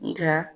Nga